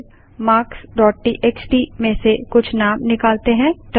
चलिए marksटीएक्सटी में से कुछ नाम निकालते हैं